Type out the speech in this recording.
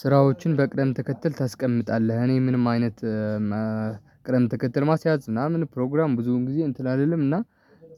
ስራዎችን በቅደምተከተል ታስቀምጣለህ እኔ ምንም አይነት እም እ ቅደምተከተል ማስያዝ ምናምን ፕሮግራም ብዙ ጊዜ እንትን አልልምና።